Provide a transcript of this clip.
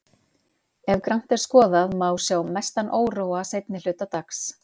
Ef grannt er skoðað, má sjá mestan óróa seinni hluta dags.